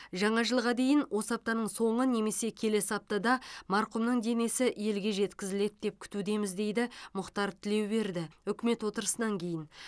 жаңа жылға дейін осы аптаның соңы немесе келесі аптада марқұмның денесі елге жеткізіледі деп күтудеміз дейді мұхтар тілеуберді үкімет отырысынан кейін